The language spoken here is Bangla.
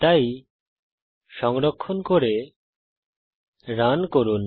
তাই সংরক্ষণ করে রান করুন